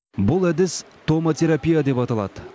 бұл әдіс томотерапия деп аталады